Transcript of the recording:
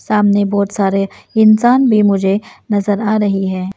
आमने बहुत सारे इंसान भी मुझे नजर आ रही है।